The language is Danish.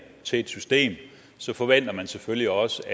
til et system forventer man selvfølgelig også